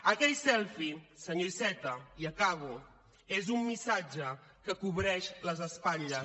aquell selfie senyor iceta i acabo és un missatge que cobreix les espatlles